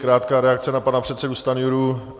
Krátká reakce na pana předsedu Stanjuru.